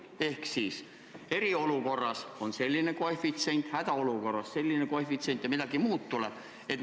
Ehk siis, et eriolukorras on selline koefitsient, hädaolukorras on selline koefitsient, ja vahest võib tulla ka midagi muud.